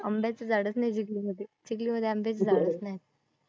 आंब्याचे झाडच नाही चिखलीमध्ये. चिखलीमध्ये आंब्याचे झाडच नाही.